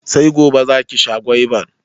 Sai gobe za ki sha gwaibar